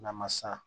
N'a ma san